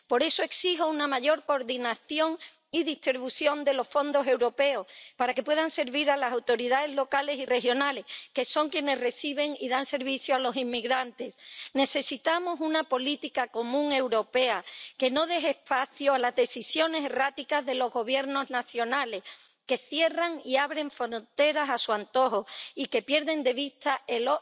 Por eso exijo una mayor coordinación y distribución de los fondos europeos, para que puedan ayudar a las autoridades locales y regionales, que son quienes reciben y dan servicio a los inmigrantes. Necesitamos una política común europea, que no deje espacio a las decisiones erráticas de los gobiernos nacionales, que cierran y abren fronteras a su antojo y que pierden de vista el